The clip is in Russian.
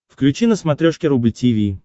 включи на смотрешке рубль ти ви